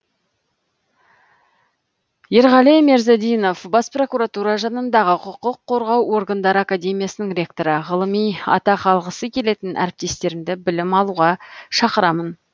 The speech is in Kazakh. ерғали мерзадинов бас прокуратура жанындағы құқық қорғау органдары академиясының ректоры ғылыми атақ алғысы келетін әріптестерімді білім алуға шақырамын